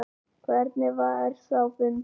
Hvernig var sá fundur?